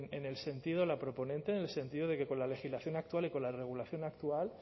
la proponente en el sentido de que con la legislación actual y con la regulación actual